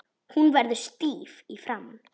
Hún verður stíf í framan.